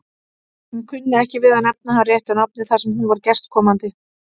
Hún kunni ekki við að nefna hann réttu nafni þar sem hún var gestkomandi.